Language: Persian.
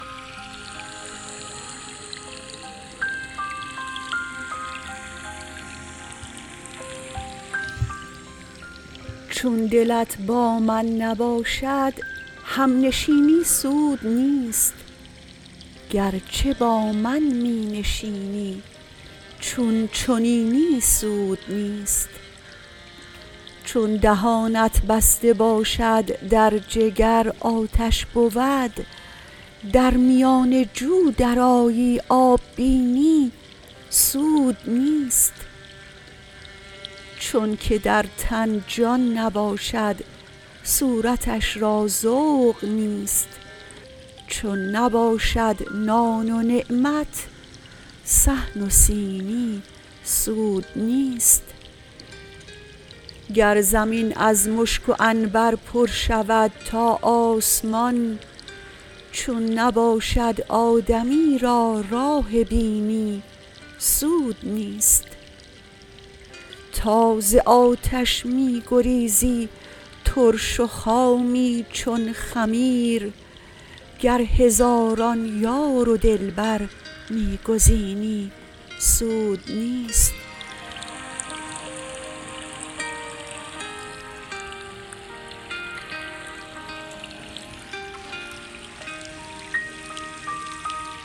چون دلت با من نباشد همنشینی سود نیست گرچه با من می نشینی چون چنینی سود نیست چون دهانت بسته باشد در جگر آتش بود در میان جو درآیی آب بینی سود نیست چونک در تن جان نباشد صورتش را ذوق نیست چون نباشد نان و نعمت صحن و سینی سود نیست گر زمین از مشک و عنبر پر شود تا آسمان چون نباشد آدمی را راه بینی سود نیست تا ز آتش می گریزی ترش و خامی چون خمیر گر هزاران یار و دلبر می گزینی سود نیست